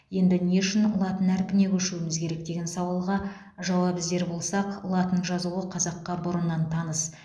енді не үшін латын әрпіне көшуіміз керек деген сауалға жауап іздер болсақ латын жазуы қазаққа бұрыннан таныс